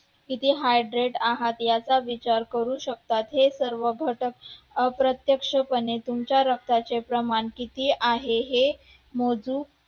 किती heart rate आहेत याचा विचार करू शकतात. हे सर्व घटक अप्रत्यक्षपणे तुमच्या रक्ताचे प्रमाण किती आहे हे मोजू